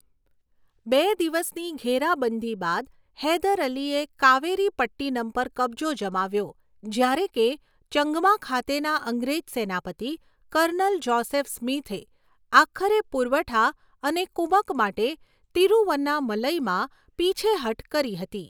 બે દિવસની ઘેરાબંધી બાદ હૈદર અલીએ કાવેરીપટ્ટિનમ પર કબજો જમાવ્યો જ્યારે કે ચંગમા ખાતેના અંગ્રેજ સેનાપતિ, કર્નલ જોસેફ સ્મિથે, આખરે પુરવઠા અને કુમક માટે તિરુવન્નામલઈમાં પીછેહઠ કરી હતી.